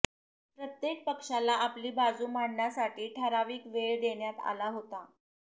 प्रत्येक पक्षाला आपली बाजू मांडण्यासाठी ठराविक वेळ देण्यात आला होता